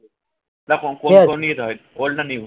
দেখো দিকে যেতে হয় old না new